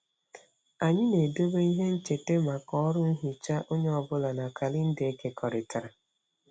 Anyị na-edobe ihe ncheta maka ọrụ nhicha onye ọ bụla na kalenda ekekọrịtara.